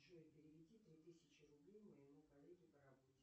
джой переведи три тысячи рублей моему коллеге по работе